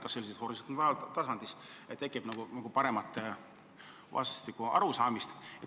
Loodeti, et sellisel juhul tekib nagu parem vastastikune arusaamine.